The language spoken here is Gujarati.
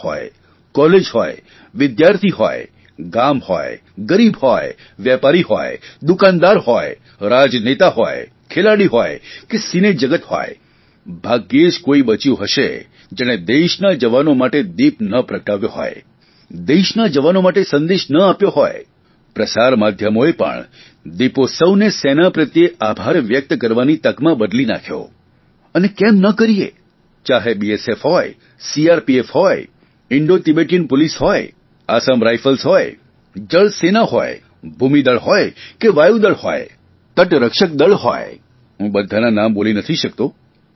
શાળા હોય કોલેજ હોય વિદ્યાર્થી હોય ગામ હોય ગરીબ હોય વેપારી હોય દુકાનદાર હોય રાજનેતા હોય ખેલાડી હોય કે સિનેજગત હોય ભાગ્યે જ કોઇ બચ્યું હશે જેણે દેશના જવાનો માટે દીપ ન પ્રગટાવ્યો હોય દેશના જવાનો માટે સંદેશ ન આપ્યો હોય પ્રસાર માધ્યમોએ પણ આ દીપોત્સવીને સેના પ્રત્યે આભાર વ્યક્ત કરવાની તકમાં બદલી નાંખ્યો અને કેમ ન કરીએ ચાહે બીએસએફ સીઆરપીએફ હોય ઇન્ડોતીબેટમ પોલીસ હોય આસામ રાઇફલ્સ હોય જળસેના હોય ભૂમિદળ હોય કે વાયુદળ હોય તટરક્ષક દળ હોય હું બધાંના નામ બોલી નથી શકતો